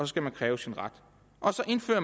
skal man kræve sin ret og så indfører